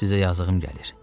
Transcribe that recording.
Sizə yazığım gəlir.